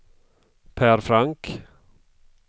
Pär Frank